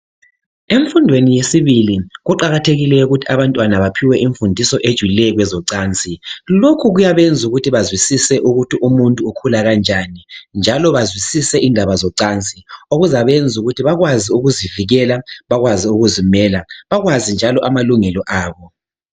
Emfundweni yesibili kuqakathekile ukuthi abantwana baphiwe imfundiso ephathelane ngezocansi. Lokhu kuyabenza ukuthi bazwisise ukuthi umuntu ukhula kanjani njalo bazwisise indaba zocansi okuzabenza ukuthi bakwazi ukuzivikela bakwazi ukuzimela. Bakwazi njalo amalungelo abo.